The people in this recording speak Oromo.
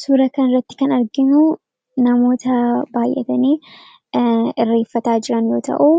Suura kan irratti kan arginu namoota baay'atanii irreeffataa jiraan yoo ta'uu